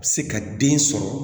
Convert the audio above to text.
Se ka den sɔrɔ